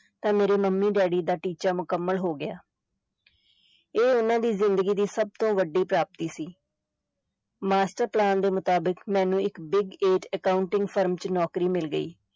ਤਾਂ ਮੇਰੇ mummy daddy ਦਾ ਟੀਚਾ ਮੁਕੰਮਲ ਹੋ ਗਿਆ ਇਹ ਉਨ੍ਹਾਂ ਦੀ ਜ਼ਿੰਦਗੀ ਦੀ ਸਭ ਤੋਂ ਵੱਡੀ ਪ੍ਰਾਪਤੀ ਸੀ master plan ਦੇ ਮੁਤਾਬਿਕ, ਮੈਨੂੰ ਇਕ ਡਿਗ ਏਟ accounting ਫਰਮ ਚ ਨੌਕਰੀ ਮਿਲ ਗਈ।